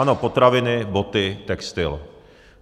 Ano, potraviny, boty, textil.